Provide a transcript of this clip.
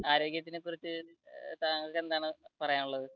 ആരോഗ്യത്തെ കുറിച്ച് താങ്കൾക്ക് എന്താണ് പറയാനുള്ളത്?